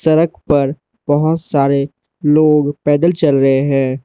सड़क पर बहोत सारे लोग पैदल चल रहे है।